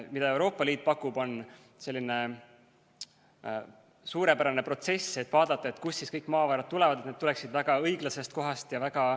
Mida Euroopa Liit pakub, on selline suurepärane protsess, et vaadata, kust kõik maavarad tulevad, et need tuleksid väga õiglasest kohast ja väga ...